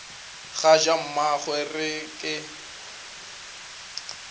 ga ja mmagwe re ke